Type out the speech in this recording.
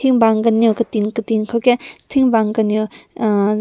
ting bak kanew katin katin kow kenk ting bak kanew uhh.